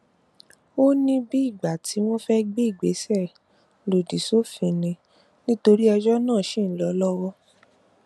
ó ní bíi ìgbà tí wọn fẹẹ gbé ìgbésẹ lòdì sófin ni nítorí ẹjọ náà ṣì ń lọ lọwọ